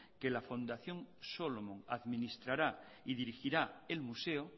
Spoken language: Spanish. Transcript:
que la fundación solomon administrará y dirigirá el museo